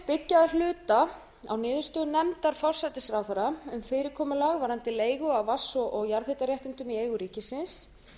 byggja að hluta á niðurstöðum nefndar forsætisráðherra um fyrirkomulag varðandi leigu á vatns og jarðhitaréttindum í eigu ríkisins